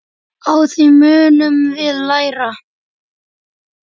Á því munum við læra.